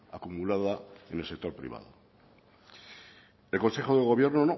acumulada en el sector privado el consejo de gobierno